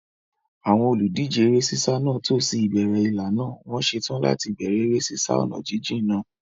Àwọn olùdíje eré sísá náà tò sí ìbẹ̀rẹ̀ ìlà náà, wọ́n ṣetán láti bẹ̀rẹ̀ eré sísá ọ̀nà jíjìn náà.